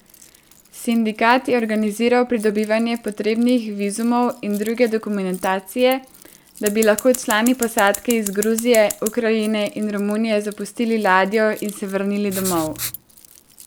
Sindikat je organiziral pridobivanje potrebnih vizumov in druge dokumentacije, da bi lahko člani posadke iz Gruzije, Ukrajine in Romunije zapustili ladjo in se vrnili domov.